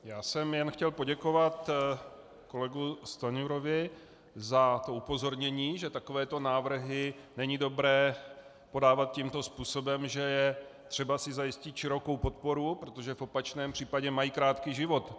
Já jsem jen chtěl poděkovat kolegovi Stanjurovi za to upozornění, že takovéto návrhy není dobré podávat tímto způsobem, že je třeba si zajistit širokou podporu, protože v opačném případě mají krátký život.